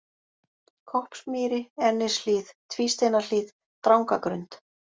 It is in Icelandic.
Koppsmýri, Ennishlíð, Tvísteinahlíð, Drangagrund